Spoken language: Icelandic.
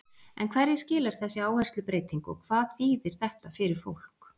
En hverju skilar þessi áherslubreyting og hvað þýðir þetta fyrir fólk?